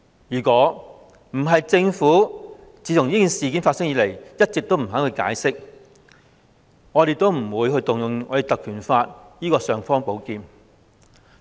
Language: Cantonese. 如果不是政府自事件發生後一直不願解釋，我們也不會引用《立法會條例》這把"尚方寶劍"。